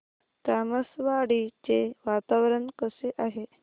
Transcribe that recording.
तामसवाडी चे वातावरण कसे आहे